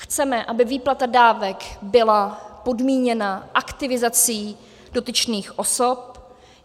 Chceme, aby výplata dávek byla podmíněna aktivizací dotyčných osob.